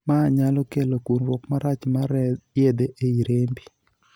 Maa nyalo kelo kunruok marach mar yedhe ei rembi.